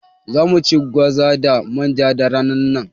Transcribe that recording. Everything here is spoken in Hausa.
Za mu ci gwaza da manja da ranar nan